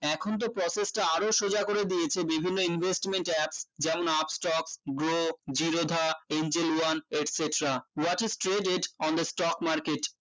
এখনতো process টা আরো সোজা করে দিয়েছে বিভিন্ন investment apps যেমন upstock grow Zerodha angel one etc what is created in the stock market